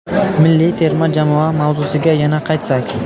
Milliy terma jamoa mavzusiga yana qaytsak.